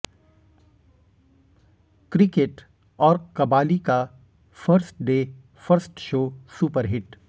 cricket और कबाली का first day first show superhit